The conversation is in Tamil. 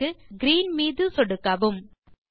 கலர் க்கு கிரீன் மீது சொடுக்கவும்